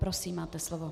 Prosím, máte slovo.